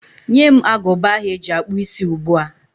Nye m agụba ahụ eji akpụ isí ugbu a!